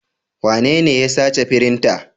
Wanene ya sace firinta?